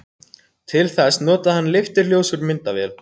Til þess notaði hann leifturljós úr myndavél.